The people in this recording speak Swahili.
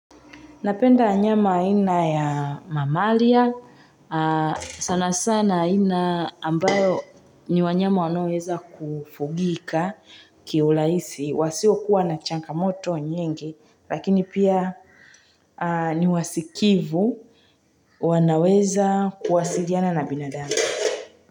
Napenda nyama aina ya mamalia. Sana sana aina ambayo ni wanyama wanaoweza kufugika kiulahisi. Wasiokuwa na changamoto nyingi. Lakini pia ni wasikivu. Wanaweza kuwasaidiana na binadamu.